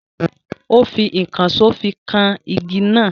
Ó fi ìkànsó fi kan igi náà.